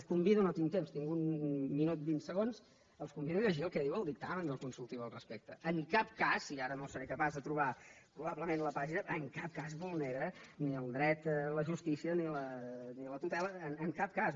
els convido no tinc temps tinc un minut vint segons a llegir el que diu el dictamen del consultiu al respecte en cap cas i ara no seré capaç de trobar probablement la pàgina vulnera ni el dret a la justícia ni la tutela en cap cas